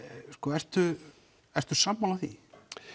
ertu ertu sammála því